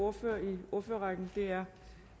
ordfører i ordførerrækken er